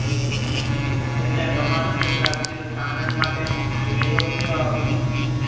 એમને બ્રહ્માનંદની પ્રાપ્તિ તથા આનંદ માટે વેદોક્ત